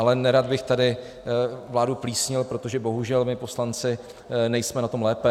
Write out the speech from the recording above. Ale nerad bych tady vládu plísnil, protože bohužel my poslanci nejsme na tom lépe.